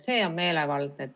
See on meelevaldne.